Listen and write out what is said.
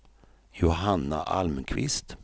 Johanna Almqvist